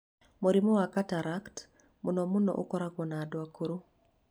Mũrimũ wa cataract mũno mũno ũkoragwo na andũ akũrũ.